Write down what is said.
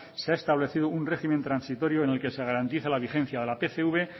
se ha establecido un régimen transitorio en el que se garantiza la vigencia de la pcv